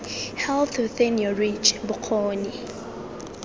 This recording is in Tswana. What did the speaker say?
health within your reach bokgoni